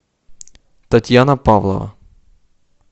татьяна павлова